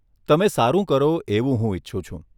તમે સારું કરો એવું હું ઈચ્છું છું.